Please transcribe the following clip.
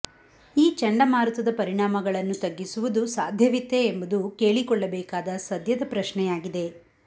ಈ ಚಂಡಮಾರುತದ ಪರಿಣಾಮಗಳನ್ನು ತಗ್ಗಿಸುವುದು ಸಾಧ್ಯವಿತ್ತೇ ಎಂಬುದು ಕೇಳಿಕೊಳ್ಳಬೇಕಾದ ಸದ್ಯದ ಪ್ರಶ್ನೆಯಾಗಿದೆ